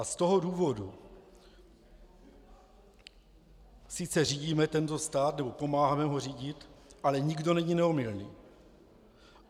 A z toho důvodu sice řídíme tento stát nebo pomáháme ho řídit, ale nikdo není neomylný.